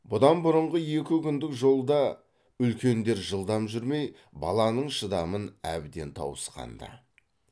бұдан бұрынғы екі күндік жолда үлкендер жылдам жүрмей баланың шыдамын әбден тауысқан ды